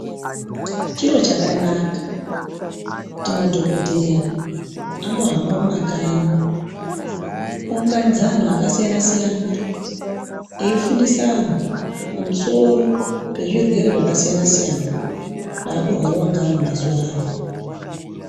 Chiro chakanaka kuti madhokodheya ambohamba mumakanyi kuunganidza anhu akasiyana siyana. Eifundisa anhu pamusoro pezvirwere zvakasiyana siyana zvakurwariwa ngeanhu mazuwano.